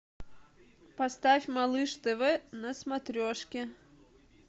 поставь малыш тв на смотрешке